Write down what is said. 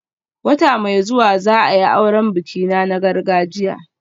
Wata mai zuwa za a yi auren bikina na gargajiya